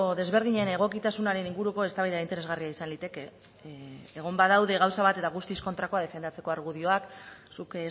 desberdinen egokitasunaren inguruko eztabaida interesgarria izan liteke egon badaude gauza bat eta guztiz kontrakoa defendatzeko argudioak zuk